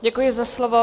Děkuji za slovo.